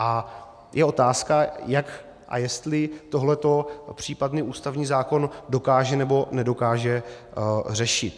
A je otázka, jak a jestli tohle případný ústavní zákon dokáže nebo nedokáže řešit.